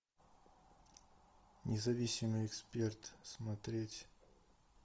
независимый эксперт смотреть